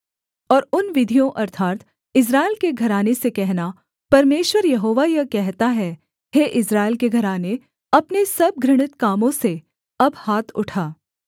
और उन विरोधियों अर्थात् इस्राएल के घराने से कहना परमेश्वर यहोवा यह कहता है हे इस्राएल के घराने अपने सब घृणित कामों से अब हाथ उठा